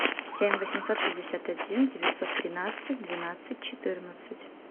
семь восемьсот шестьдесят один девятьсот тринадцать двенадцать четырнадцать